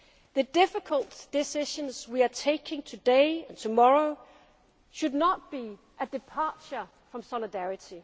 values such as solidarity, safety nets and equal opportunities for all. The difficult decisions